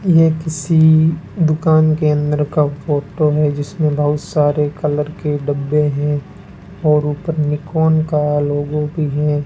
यह किसी दुकान के अंदर का फोटो है जिसमें बहुत सारे कलर के डब्बे हैं और ऊपर में नीकोन का लोगो भी है।